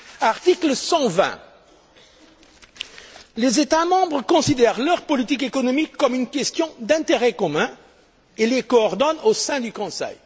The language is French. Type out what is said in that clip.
vrai! Article 120 Les États membres considèrent leurs politiques économiques comme une question d'intérêt commun et les coordonnent au sein du Conseil.